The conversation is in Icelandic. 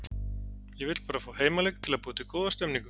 Ég vill bara fá heimaleik til að búa til góða stemmningu.